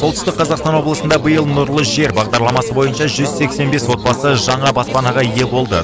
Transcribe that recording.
солтүстік қазақстан облысында биыл нұрлы жер бағдарламасы бойынша жүз сексен бес отбасы жаңа баспанаға ие болды